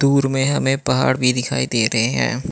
दूर में हमें पहाड़ भी दिखाई दे रहे है।